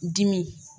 Dimi